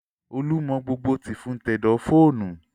Olú mọ gbogbo tìfun tẹ̀dọ̀ fóònù